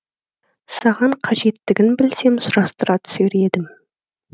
саған қажеттігін білсем сұрастыра түсер едім